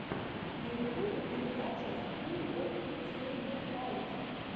на ютубе передача скул оф сэйбэфайтинг